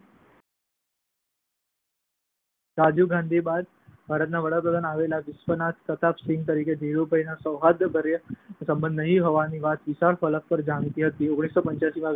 રાજીવ ગાંધી બાદ ભારતના વડાપ્રધાનપદે આવેલ વિશ્વનાથ પ્રતાપ સિંઘ સાથે ધીરુભાઈને સૌહાર્દભર્યા સંબંધો નહિ હોવાની વાત વિશાળ ફલક પર જાણીતી હતી. ઓગણીસો પંચ્યાસી માં વી. પી. સિંઘે અચાનક જ ઓપન જનરલ